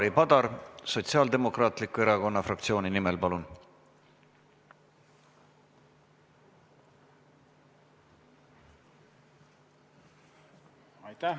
Ivari Padar Sotsiaaldemokraatliku Erakonna fraktsiooni nimel, palun!